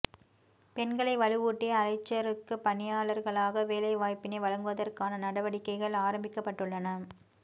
பெண்களை வலுவூட்டி அலைச்சறுக்கு பயிற்சியாளர்களாக வேலை வாய்ப்பினை வழங்குவதற்கான நடவடிக்கைகள் ஆரம்பிக்கப்பட்டுள்ளன